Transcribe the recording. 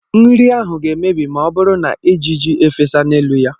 Nri ahụ ga-emebi ma ọ bụrụ na ejiji efesa n'elu ya.